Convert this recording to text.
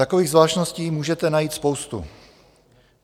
Takových zvláštností můžete najít spoustu.